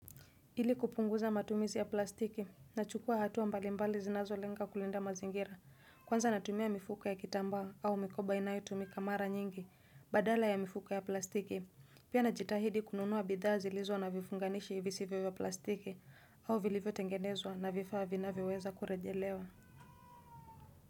Ili kupunguza matumizi ya plastiki na hatua mbali mbali zinazo lenga kulinda mazingira, kwanza natumia mifuko ya kitambaa au mikoba inayotumika mara nyingi, badala ya mifuko ya plastiki. Pia najitahidi kununua bidhaa zilizo na vifunganishi visivyo ya plastiki au vilivyo tengenezwa na vifaa vinavyoweza kurejelewa.